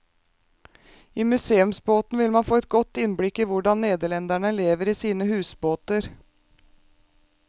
I museumsbåten vil man få et godt innblikk i hvordan nederlendere lever i sine husbåter.